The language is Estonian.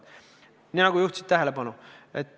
Juhtisid sellele ise tähelepanu.